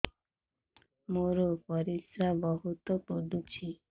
ମୋର ପରିସ୍ରା ବହୁତ ପୁଡୁଚି